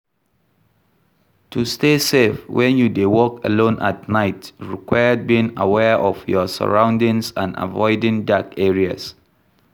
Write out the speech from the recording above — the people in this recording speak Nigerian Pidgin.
To stay safe when you dey walk alone at night require being aware of your surroundings and avioding dark areas.